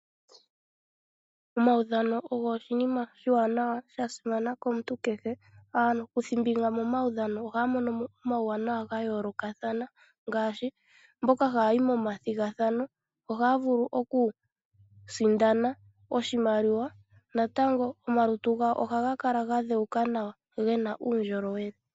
Omaudhano ogo oshinima oshiwanawa, shasimana komuntu kehe. Aakuthimbinga momaudhano ohaya monomo omauwanawa gayoolokathana, ngaashi mboka haya yi nomathigathano ohaya vulu okusindana oshimaliwa. Natango omalutu gawo ohaga kala gadhewuka nawa, gena uundjolowele.